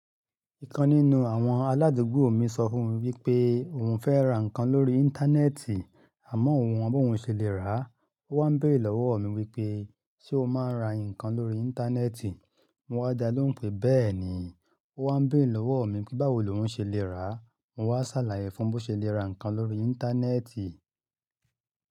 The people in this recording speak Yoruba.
Ìkan nínú àwọn aládùgbò mi sọ fún mi wípé òun fẹ́ ra ǹkan lórí íńtánẹ́ẹ̀tì àmọ́ òun ò mọ bí òun ṣe lè rá. Ó wá n béèrè lọ́wọ́ mi wípé "ṣé o máa ń ra ǹkan lórí íńtánẹ́ẹ̀tì?" Mo wá dá lohùn pé: bẹ́ẹ̀ ni. Ó wá n béèrè lọ́wọ́ mi pé báwo l'oún ṣe lè rá a. Mo wá ṣàlàyé fún bí ó ṣe lè ra ǹkan lórí íńtánẹ́ẹ̀tì.